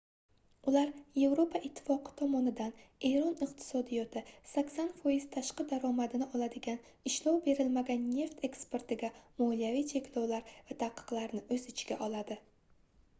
ular yevropa ittifoqi tomonidan eron iqtisodiyoti 80% tashqi daromadini oladigan ishlov berilmagan neft eksportiga moliyaviy cheklovlar va taqiqlarni oʻz ichiga oladi